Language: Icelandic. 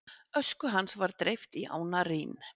Ösku hans var dreift í ána Rín.